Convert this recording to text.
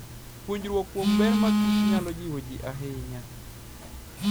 Puonjruok kuom ber ma kich nyalo jiwo ji ahinya.